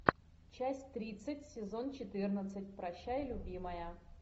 часть тридцать сезон четырнадцать прощай любимая